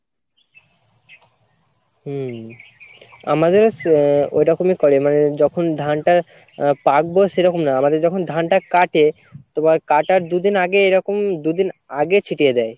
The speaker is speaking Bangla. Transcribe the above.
হম আমাদেরও ছে আহ ঐরকমই করে মানে যখন ধানটা আহ পাকবে সেরকম না আমাদের যখন ধানটা কাটে তোমার কাটার দুইদিন আগে এরকম দুইদিন আগে ছিটিয়ে দেয়